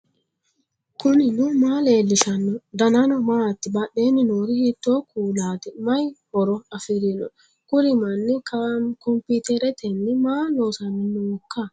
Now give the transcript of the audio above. knuni maa leellishanno ? danano maati ? badheenni noori hiitto kuulaati ? mayi horo afirino ? kuri manni kompiiteretenni maa loosanni nooika